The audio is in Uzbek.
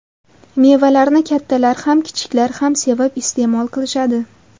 Mevalarni kattalar ham kichiklar ham sevib iste’mol qilishadi.